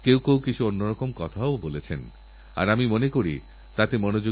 আমরা যখন টিংকারিংল্যাবএর কথা বলি তখন প্রায় তেরো হাজারেরও বেশি স্কুল আবেদন করেছিল